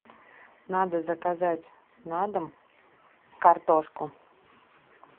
надо заказать на дом картошку